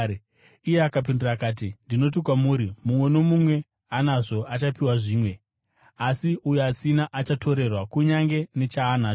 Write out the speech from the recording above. “Iye akapindura akati, ‘Ndinoti kwamuri, mumwe nomumwe anazvo, achapiwa zvimwe, asi uyo asina, achatorerwa kunyange nechaanacho.